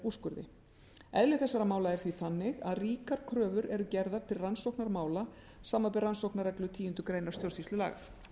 úrskurði eðli þessara mála er því þannig að ríkar kröfur eru gerðar til rannsóknar mála samanber rannsóknarreglu tíundu greinar stjórnsýslulaga